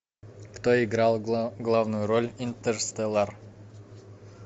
кто играл главную роль интерстеллар